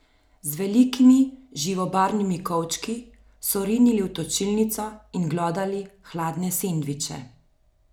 Z velikimi, živobarvnimi kovčki so rinili v točilnico in glodali hladne sendviče.